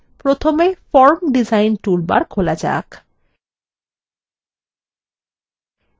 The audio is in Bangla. এটি করতে প্রথমে form ডিজাইন toolbar খোলা যাক